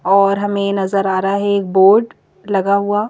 और हमें नजर आ रहा है एक बोर्ड लगा हुआ--